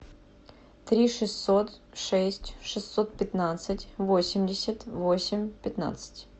три шестьсот шесть шестьсот пятнадцать восемьдесят восемь пятнадцать